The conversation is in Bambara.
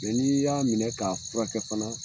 Mɛ ni y'a minɛ k'a furakɛ fana